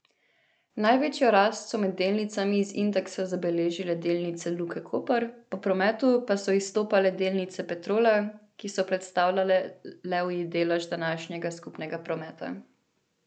Največjo rast so med delnicami iz indeksa zabeležile delnice Luke Koper, po prometu pa so izstopale delnice Petrola, ki so predstavljale levji delež današnjega skupnega prometa.